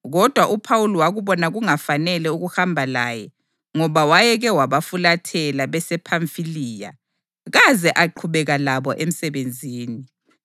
kodwa uPhawuli wakubona kungafanele ukuhamba laye ngoba wayeke wabafulathela besePhamfiliya kaze aqhubeka labo emsebenzini.